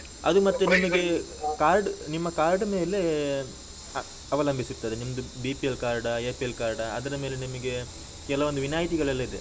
Card ನಿಮ್ಮ card ಮೇಲೆ ಅವಲಂಬಿಸಿರ್ತದೆ. ನಿಮ್ದು BPL card ಆ APL card ಆ ಅದರ ಮೇಲೆ ನಿಮಗೆ ಕೆಲವೊಂದು ವಿನಾಯಿತಿಗಳೆಲ್ಲಾ ಇದೆ.